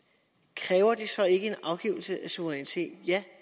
kræver det så ikke en afgivelse af suverænitet ja